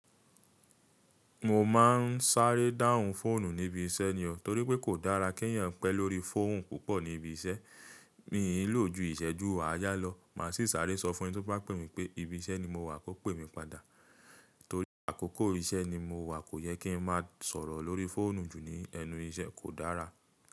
Mo máa ń sáré dáhùn fóònù ní ibi iṣẹ́ ni o, torí pé kò dára kí n eeyàn pẹ́ lórí fóònù púpọ̀ ní ibi iṣẹ́. Mií lò jú ìṣẹ́jú àyà lọ. Máa sì sáré sọ fún ẹni tí ó bá pè mí pé ibi iṣẹ́ ni mo wà kó pè mí padà. Torí àkókò iṣẹ́ ni mo wà, kò yẹ kí n máa sọ̀rọ̀ lórí fóònù jù ní ẹnu iṣẹ́, kò dára.